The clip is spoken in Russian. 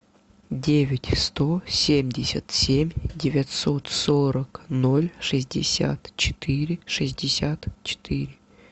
девять сто семьдесят семь девятьсот сорок ноль шестьдесят четыре шестьдесят четыре